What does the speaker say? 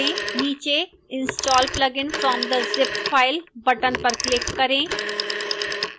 नीचे install plugin from the zip file button पर click करें